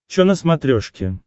че на смотрешке